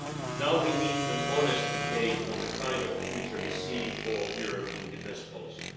Now we need an honest debate on the kind of future we see for Europe in defence policy.